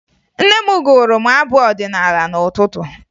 Nne m gụụrụ m abụ ọdịnaala n'ụtụtụ